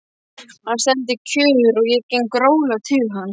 Hann stendur kjur og ég geng rólega til hans.